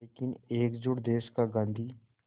लेकिन एकजुट देश का गांधी